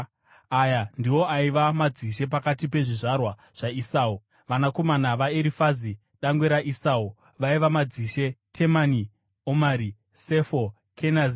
Aya ndiwo aiva madzishe pakati pezvizvarwa zvaEsau: Vanakomana vaErifazi, dangwe raEsau, vaiva: madzishe Temani, Omari, Sefo, Kenazi,